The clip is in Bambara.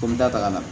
Ko n bɛ taa taga na